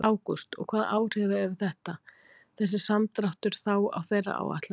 Ágúst: Og hvaða áhrif hefur þetta, þessi samdráttur þá á þeirra áætlanir?